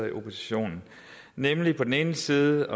i opposition nemlig på den ene side